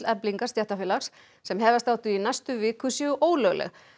Eflingar stéttarfélags sem hefjast átti í næstu viku séu ólögleg